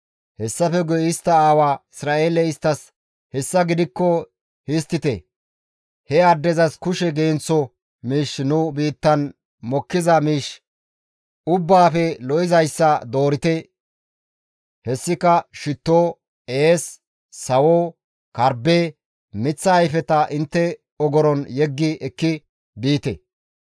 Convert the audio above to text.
Hessafe guye istta aawa Isra7eeley isttas, «Hessa gidikko histtite; he addezas kushe genththo miish nu biittan mokkiza miish ubbaafe lo7izayssa doorite; hessika shitto, ees, sawo, karbbe, miththa ayfeta intte ogoron yeggi ekki biite.